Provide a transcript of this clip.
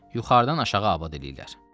Yuxarıdan aşağı abad eləyirlər.